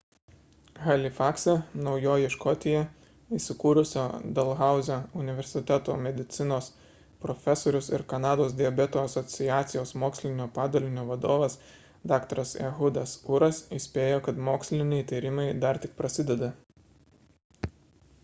halifakse naujoji škotija įsikūrusio dalhauzio universiteto medicinos profesorius ir kanados diabeto asociacijos mokslinio padalinio vadovas dr. ehudas uras įspėjo kad moksliniai tyrimai dar tik prasideda